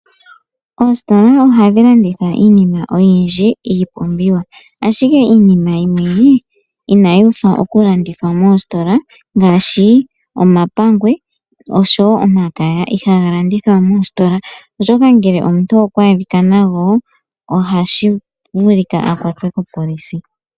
Oositola ohadhi landitha iipumbiwa oyindji. Iinima yimwe inayi pitikwa oku landithwa moositola ngaashi omapangwe nomakaya. Omuntu ngele okwa adhika nago ohashi vulika a kwatwe kopolisi.